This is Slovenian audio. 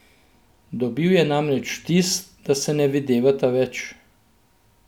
Dobil je namreč vtis, da se ne videvata več.